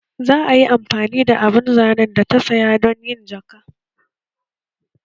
Za a yi amfani da abun zanen da ta saya don yin jaka